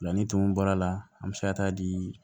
La ni tumun bɔr'a la an bɛ se ka taa di